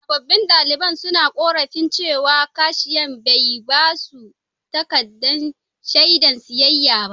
Sabobbin daliban suna ƙorafin cewa kashiya bai ba su takaddan shaidan siyayya ba.